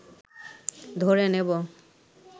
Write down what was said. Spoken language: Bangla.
ধরে নেব